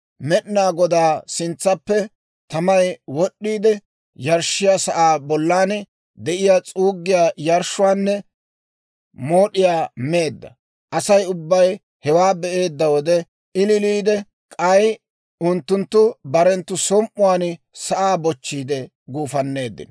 Med'inaa Godaa sintsaappe tamay wod'iide, yarshshiyaa sa'aa bollan de'iyaa s'uuggiyaa yarshshuwaanne mood'iyaa meedda. Asay ubbay hewaa be'eedda wode ilileedda; k'ay unttunttu barenttu som"uwaan sa'aa bochchiide guufanneeddino.